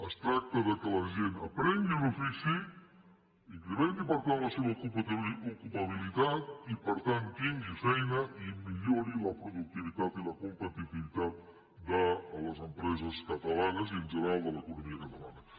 es tracta que la gent aprengui un ofici incrementi per tant la seva ocupabilitat i per tant tingui feina i millori la productivitat i la competitivitat de les empreses catalanes i en general de l’economia catalana